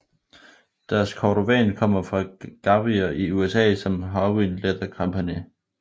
Deres cordovan kommer fra garvrier i USA som Horween Leather Company